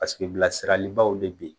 Paseke bilasiralibaw bɛ ben